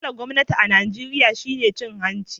Matsalan gwamnatin Nijeriya shine cin hanci.